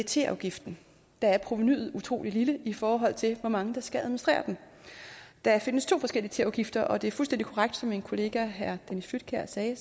teafgiften der er provenuet utrolig lille i forhold til hvor mange der skal administrere den der findes to forskellige teafgifter og det er fuldstændig korrekt som min kollega herre dennis flydtkjær sagde